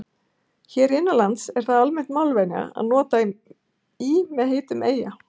hér innanlands er það almenn málvenja að nota í með heitum eyja